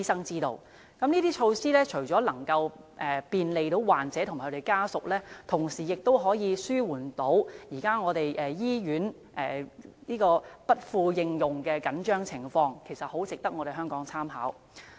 以上措施除了可便利患者及其家屬外，亦能紓緩醫院服務不敷應用的緊張情況，相當值得香港參考。